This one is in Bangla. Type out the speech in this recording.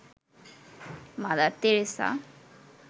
mother Teresa